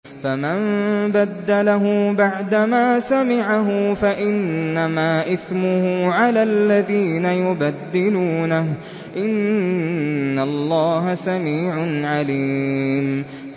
فَمَن بَدَّلَهُ بَعْدَمَا سَمِعَهُ فَإِنَّمَا إِثْمُهُ عَلَى الَّذِينَ يُبَدِّلُونَهُ ۚ إِنَّ اللَّهَ سَمِيعٌ عَلِيمٌ